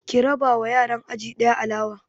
Ki raba wa yaran aji ɗaya alawa!